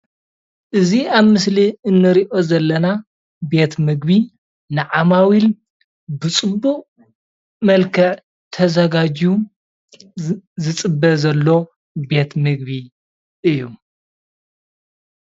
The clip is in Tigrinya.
እዚ ኣብ ምስሊ እንሪኦ ዘለና ቤት ምግቢ ንዓማዊል ብፅቡቅ መልክዕ ተዘጋጅዩ ዝፅበ ዘሎ ቤት ምግቢ እዩ፡፡